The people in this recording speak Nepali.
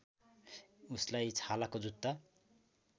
उसलाई छालाको जुता